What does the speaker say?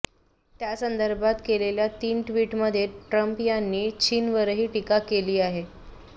त्यासंदर्भात केलेल्या तीन ट्वीटमध्ये ट्रंप यांनी चीनवरही टीका केली आहे